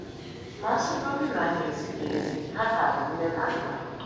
Ma a sịgodị na ha ezighị ezi, ha ka bụ nne na nna m.